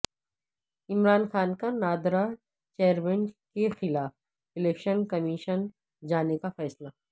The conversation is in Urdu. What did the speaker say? عمران خان کا نادرا چیئرمین کیخلاف الیکشن کمیشن جانے کا فیصلہ